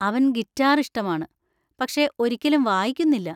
അവൻ ഗിറ്റാർ ഇഷ്ടമാണ്, പക്ഷേ ഒരിക്കലും വായിക്കുന്നില്ല.